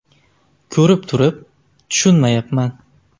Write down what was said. Ko‘rib turib, tushunmayapman.